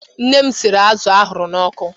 Nne m riri azụ ahụrụ n'ọkụ.